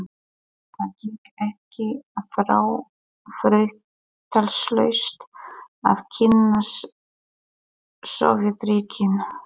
Það gekk ekki þrautalaust að kynnast Sovétríkjunum.